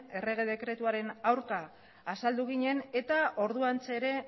errege dekretuaren aurka azaldu ginen eta orduantxe ere